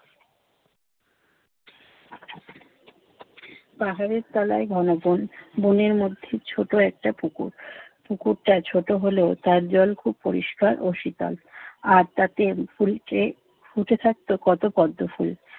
পাহাড়ের তলায় ঘন বন, বনের মধ্যে ছোট একটা পুকুর। পুকুরটা ছোট হলেও তার জল খুব পরিষ্কার ও শীতল। আর তাতে পুরিত্রে ফুটে থাকতো কত পদ্ম ফুল!